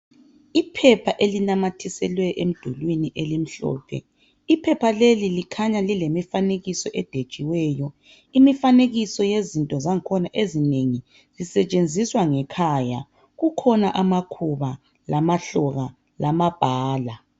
Iphepha elinamathiselwe emdulwini elimhlophe, iphepha leli likhanya lilemifanekiso edwetshiweyo . Imifanekiso yezinto zangikhona ezinengi zisetshenziswa ngekhaya ,kukhona amakhuba ,lamahloka lamabhala.